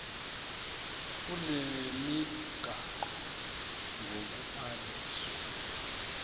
kule migaqo ngokubhaliswa